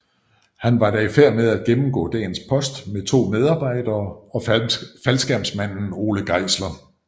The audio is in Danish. Han var da i færd med at gennemgå dagens post med 2 medarbejdere og faldskærmsmanden Ole Geisler